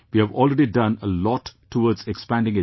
We have already done a lot towards expanding education